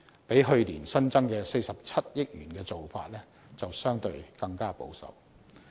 較去年新增的47億元的做法，相對更為保守。